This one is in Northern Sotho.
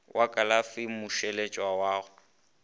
wa kalafi ya mmušeletšwa go